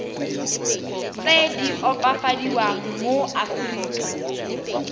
tse di opafadiwang mo aforika